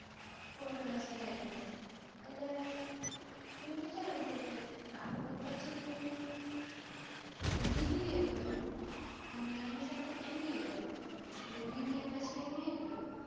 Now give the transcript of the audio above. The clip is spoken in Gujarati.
થોડોક રસ જાગ્યો છે. એટલે હું વિચારું છુ કે કાતો પછી હું BBA કરું, અને એની સાથે MBA કરું. એટલે BBA પછી MBA કરું.